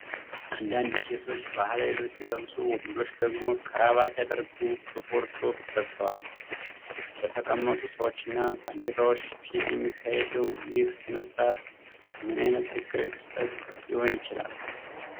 አንዳንድ ሴቶች ባህላዊ ልብስ ሲለብሱ፣ ወንዶቹ ደግሞ ክራባት ያደረጉ ጥቁር ሱፍ ለብሰዋል። በተቀመጡ ሰዎችና ባንዲራዎች ፊት የሚካሄደው ይህ ሥነ ሥርዓት ምን ዓይነት ሕጋዊ ክስተት ሊሆን ይችላል?